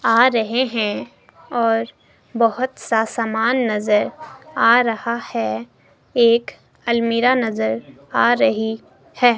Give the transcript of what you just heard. आ रहे हैं और बहोत सा सामान नजर आ रहा है एक अलमीरा नजर आ रही है।